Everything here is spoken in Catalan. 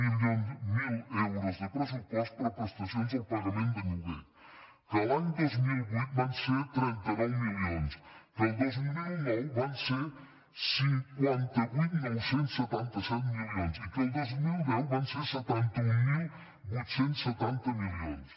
zero euros de pres·supost per a prestacions del pagament de lloguer que a l’any dos mil vuit van ser trenta nou milions que al dos mil nou van ser cinquanta vuit mil nou cents i setanta set milions i que al dos mil deu van ser setanta mil vuit cents i setanta milions